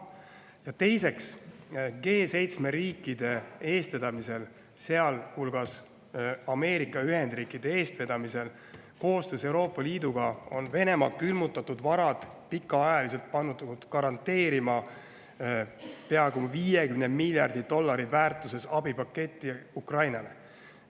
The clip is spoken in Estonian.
Ja teiseks, G7 riikide eestvedamisel, sealhulgas Ameerika Ühendriikide eestvedamisel, koostöös Euroopa Liiduga on Venemaa külmutatud varad pikaajaliselt pandud garanteerima peaaegu 50 miljardi dollari väärtuses abipaketti Ukrainale.